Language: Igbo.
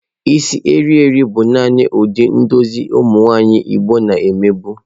Isi eriri bụ nani ụdị edozi isi ụmụ nwanyị igbo na eme bụ.